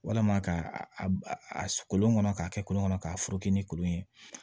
Walama ka a kolon kɔnɔ k'a kɛ kolon kɔnɔ k'a foro kɛ ni kolon ye